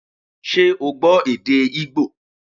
Ṣé o gbọ́ èdè Ígbò